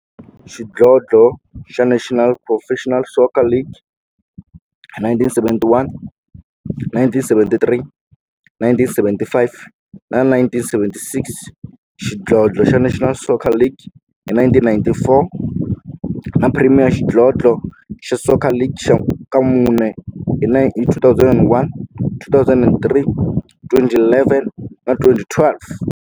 xidlodlo xa National Professional Soccer League hi 1971, 1973, 1975 na 1976, xidlodlo xa National Soccer League hi 1994, na Premier Xidlodlo xa Soccer League ka mune, hi 2001, 2003, 2011 na 2012.